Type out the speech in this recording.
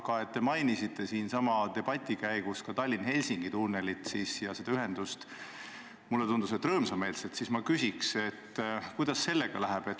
Aga et te mainisite siin sama debati käigus ka Tallinna–Helsingi tunnelit ja seda ühendust – mulle tundus, et rõõmsameelselt –, siis ma küsiks, et kuidas sellega läheb.